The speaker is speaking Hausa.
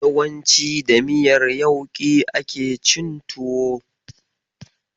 Yawanci da miyar yauƙi ake cin tuwo.